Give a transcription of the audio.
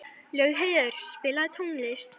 Laugheiður, spilaðu tónlist.